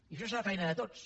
i això serà feina de tots